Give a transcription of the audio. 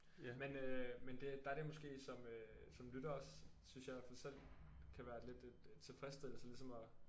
Men øh men det der er det måske som øh som lytter også synes jeg i hvert fald selv kan være lidt et tilfredsstillelse ligesom at